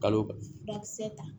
Kalo furakisɛ ta